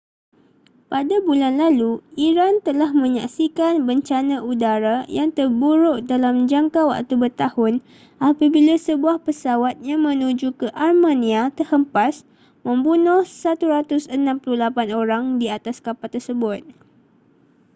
pada bulan lalu iran telah menyaksikan bencana udara yang terburuk dalam jangka waktu bertahun apabila sebuah pesawat yang menuju ke armenia terhempas membunuh 168 orang di atas kapal tersebut